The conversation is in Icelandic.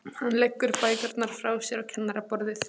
Hann leggur bækurnar frá sér á kennaraborðið.